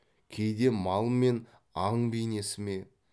кейде мал мен аң бейнесі ме